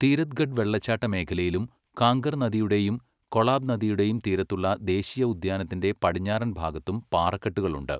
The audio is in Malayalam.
തീരഥ്ഗഡ് വെള്ളച്ചാട്ട മേഖലയിലും കാംഗർ നദിയുടെയും കൊളാബ് നദിയുടെയും തീരത്തുള്ള ദേശീയ ഉദ്യാനത്തിന്റെ പടിഞ്ഞാറൻ ഭാഗത്തും പാറക്കെട്ടുകൾ ഉണ്ട്.